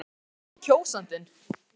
En hvað segir kjósandinn?